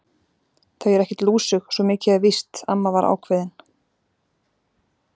Þau eru ekkert lúsug, svo mikið er víst amma var ákveðin.